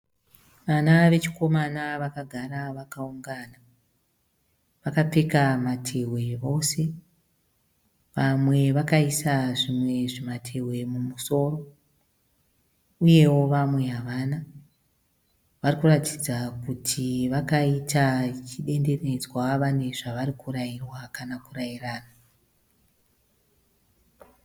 Vana vechikomana vakagara vakaungana. Vakapfeka matehwe vose. Vamwe vakaisa zvimwe zvimatehwe mumusoro. Uyewo vamwe havana. Varikuratidza kuti vakaita zvidendenedzwa vane zvavarikutaurwa kana kurairana.